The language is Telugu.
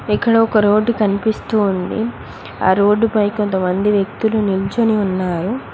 ఇక్కడ ఒక రోడ్డు కనిపిస్తూ ఉంది ఆ రోడ్డుపై కొంతమంది వ్యక్తులు నిల్చోని ఉన్నారు.